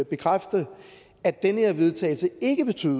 bekræfte at det her vedtagelse ikke betyder